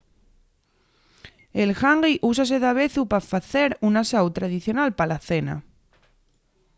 el ḥangi úsase davezu pa facer un asáu tradicional pa la cena